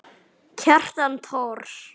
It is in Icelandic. Kjartan Thors.